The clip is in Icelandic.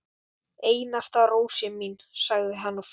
Þangað til hann fær annan samastað